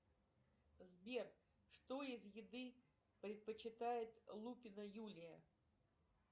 сбер что из еды предпочитает лупина юля